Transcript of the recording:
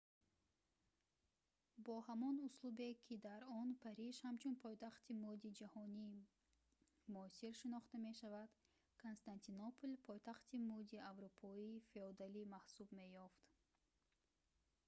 бо ҳамон услубе ки дар он париж ҳамчун пойтахти мӯди ҷаҳони муосир шинохта мешавад константинопол пойтахти мӯди аврупои феодалӣ маҳсуб меёфт